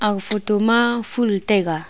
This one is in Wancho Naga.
ag photo ma ful taiga.